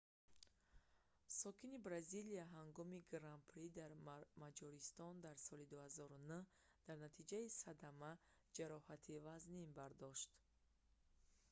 сокини бразилия ҳангоми гран-при дар маҷористон дар соли 2009 дар натиҷаи садама ҷароҳати вазнин бардошт